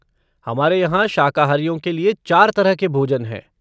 हमारे यहाँ शाकाहारियों के लिए चार तरह के भोजन हैं।